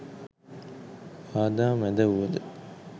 බාධා මැද වුවද